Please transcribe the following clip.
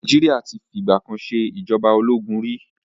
Nàìjíríà ti fi ìgbà kan ṣe ìjọba ológun ri.